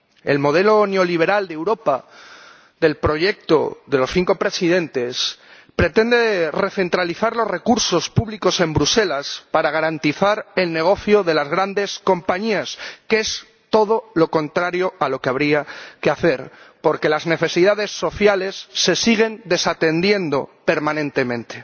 El modelo neoliberal de Europa del proyecto de los cinco presidentes pretende recentralizar los recursos públicos en Bruselas para garantizar el negocio de las grandes compañías, que es todo lo contrario a lo que habría que hacer, porque las necesidades sociales se siguen desatendiendo permanentemente.